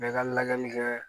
Bɛɛ ka lajɛli kɛ